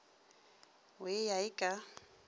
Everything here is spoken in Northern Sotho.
o e ya e ka